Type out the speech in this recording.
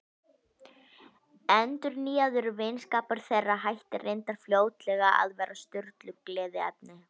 Endurnýjaður vinskapur þeirra hætti reyndar fljótlega að vera Sturlu gleðiefni.